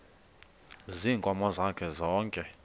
ziinkomo zakhe zonke